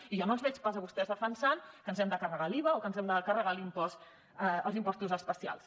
i jo no els veig pas a vostès defensant que ens hem de carregar l’iva o que ens hem de carregar els impostos especials